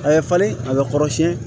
A bɛ falen a bɛ kɔrɔsiyɛn